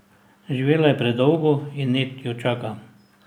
Živela je predolgo in Ned jo čaka.